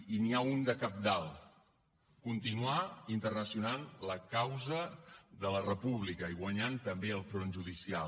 i n’hi ha un de cabdal continuar internacionalitzant la causa de la república i guanyant també el front judicial